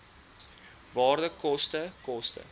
waarde koste koste